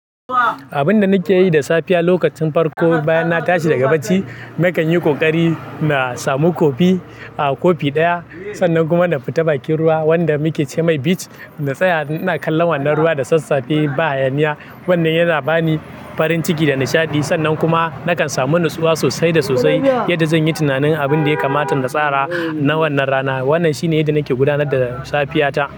Abun da nake yi da safiya lokacin farko bayan na tashi daga bacci, nakan yi ƙoƙari na samu kofii, a kofi ɗaya. Sannan kuma na fita bakin ruwa wanda muke ce mai beach, na tsaya ina kallon wannan ruwa da sassafe ba hayaniya. Wannan yana bani farin ciki da nishaɗi, sannan kuma nakan samu nutsuwa sosai da sosai. Yadda zan yi tunanin abin da ya kamata na tsara na wannan rana. Wannan shine yadda nake gudanar da safiyata.